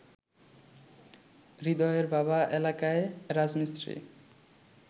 হৃদয়ের বাবা এলাকায় রাজমিস্ত্রি